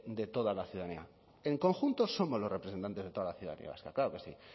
de toda la ciudadanía en conjunto somos los representantes de toda la ciudadanía vasca claro que sí